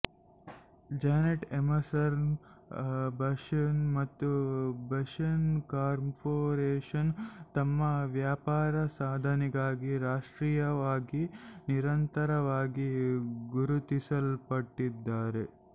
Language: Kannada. ಜಾನೆಟ್ ಎಮರ್ಸನ್ ಬಶೆನ್ ಮತ್ತು ಬಶೆನ್ ಕಾರ್ಪೊರೇಷನ್ ತಮ್ಮ ವ್ಯಾಪಾರ ಸಾಧನೆಗಾಗಿ ರಾಷ್ಟ್ರೀಯವಾಗಿ ನಿರಂತರವಾಗಿ ಗುರುತಿಸಲ್ಪಟ್ಟಿದ್ದಾರೆ